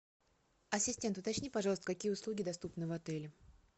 ассистент уточни пожалуйста какие услуги доступны в отеле